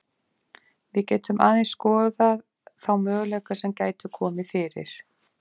Við getum aðeins skoðað þá möguleika sem gætu komið fyrir.